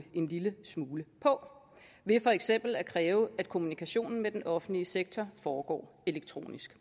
en lille smule på ved for eksempel at kræve at kommunikationen med den offentlige sektor foregår elektronisk